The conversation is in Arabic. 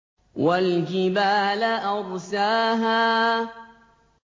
وَالْجِبَالَ أَرْسَاهَا